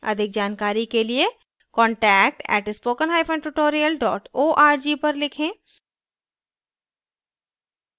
अधिक जानकारी के लिए contact @spoken hyphen tutorial dot org पर लिखें